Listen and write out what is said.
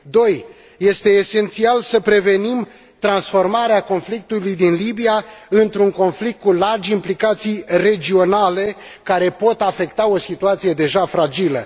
2 este esențial să prevenim transformarea conflictului din Libia într un conflict cu largi implicații regionale care pot afecta o situație deja fragilă